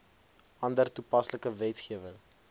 ander toepaslike wetgewing